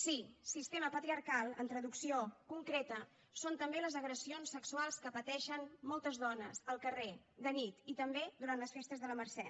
sí sistema patriarcal en traducció concreta són també les agressions sexuals que pateixen moltes dones al carrer de nit i també durant les festes de la mercè